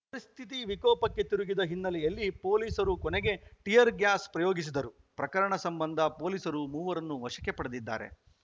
ಪರಿಸ್ಥಿತಿ ವಿಕೋಪಕ್ಕೆ ತಿರುಗಿದ ಹಿನ್ನೆಲೆಯಲ್ಲಿ ಪೊಲೀಸರು ಕೊನೆಗೆ ಟಿಯರ್‌ ಗ್ಯಾಸ್‌ ಪ್ರಯೋಗಿಸಿದರು ಪ್ರಕರಣ ಸಂಬಂಧ ಪೊಲೀಸರು ಮೂವರನ್ನು ವಶಕ್ಕೆ ಪಡೆದಿದ್ದಾರೆ